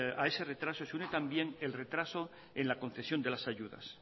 a ese retraso se une también el retraso en la concesión de las ayudas